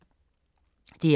DR2